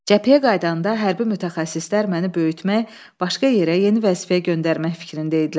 Cəbhəyə qayıdanda hərbi mütəxəssislər məni böyütmək, başqa yerə, yeni vəzifəyə göndərmək fikrində idilər.